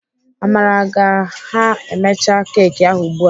Amara ga ha emecha keki ahụ ugbu a.